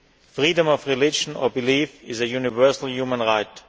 to. Freedom of religion or belief is a universal human